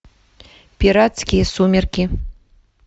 пиратские сумерки